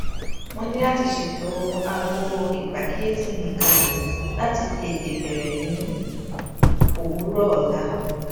mo ní láti ṣètò aago ìpàkíyèsí mi kalè láti tètè bẹrẹ ní òwúrò ọla